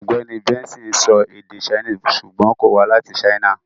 Ọ̀gbẹ́ni Benson ń sọ èdè Chinese ṣùgbọ́n kò wá láti China.